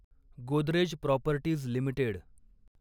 Godrej properties limited